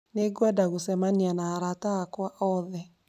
Nĩngwenda gũcemania na arata akwa othe